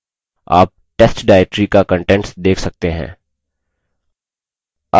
आप test directory का contents देख सकते हैं